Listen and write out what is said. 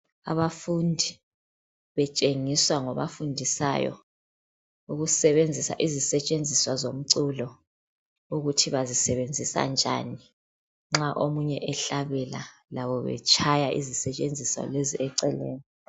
Abafundi betshengiswa ngobafundisayo ukusebenzisa izisetshenziswa zomculo ukuthi bayisebenzisa njani nxa omunye ehlabela labo betshaya izisetshenziswa eceleni.